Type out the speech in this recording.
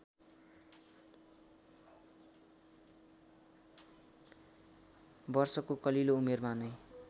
वर्षको कलिलो उमेरमा नै